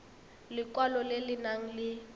lekwalo le le nang le